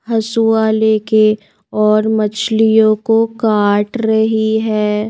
हसुआ लेके और मछलियों को काट रही है.